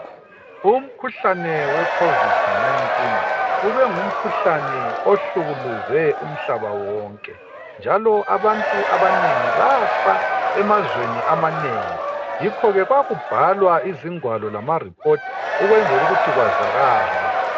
Umkhuhlane wecovid 19 ubengumkhuhlane ohlukuluze umhlaba wonke njalo abantu abanengi bafa emazweni amanengi yikhoke kwakubhalwa izigwalo lama report ukwenzela ukuthi kwazakale